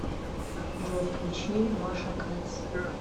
джой включи маша кэтс